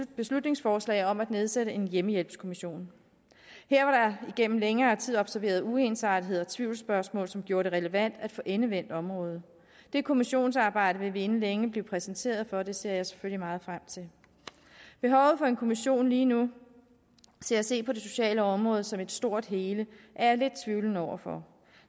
beslutningsforslag om at nedsætte hjemmehjælpskommissionen her var der igennem længere tid observeret uensartethed og tvivlsspørgsmål som gjorde det relevant at få endevendt området det kommissionsarbejde vil vi inden længe blive præsenteret for og det ser jeg selvfølgelig meget frem til behovet for en kommission lige nu til at se på det sociale område som et stort hele er jeg lidt tvivlende over for